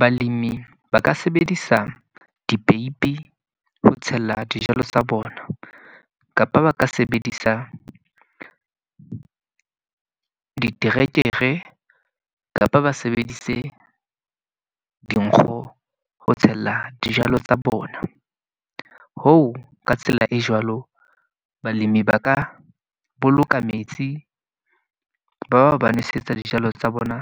Balemi ba ka sebedisa dipeipi ho tshella dijalo tsa bona. Kapa ba ka sebedisa diterekere, kapa ba sebedise dinkgo ho tshella dijalo tsa bona. Hoo ka tsela e jwalo, balemi ba ka boloka metsi ba ba nosetsa dijalo tsa bona